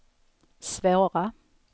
svåra